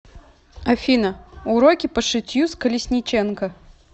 афина уроки по шитью с колесниченко